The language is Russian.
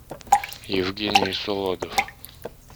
евгений солодов